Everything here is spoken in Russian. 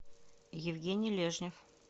евгений лежнев